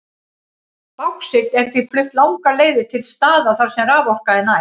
Báxít er því flutt langar leiðir til staða þar sem raforka er næg.